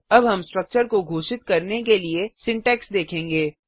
अब हम स्ट्रक्चर को घोषित करने के लिए सिंटैक्स देखेंगे